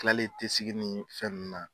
kilalen tɛ segin ni fɛn nunnu na.